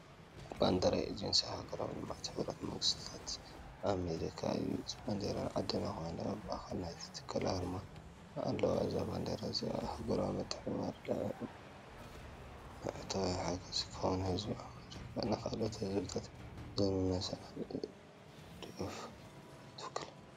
ባንዴራ ኤጀንሲ ኣህጉራዊ ልምዓት ሕቡራት መንግስታት ኣሜሪካ እዩ። እታ ባንዴራ ጻዕዳ ኮይና ኣብ ማእከል ናይቲ ትካል ኣርማ ኣለዋ። እዛ ባንዴራ እዚኣ ንኣህጉራዊ ምትሕብባር፡ ልምዓታዊ ሓገዝ፡ ከምኡ’ውን ህዝቢ ኣመሪካ ንኻልኦት ህዝብታት ዘለዎ ሰናይ ድሌትን ደገፍን ትውክል።